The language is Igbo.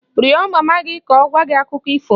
Rịọ mama gị ka ọ gwa gị Akụkọ ifo!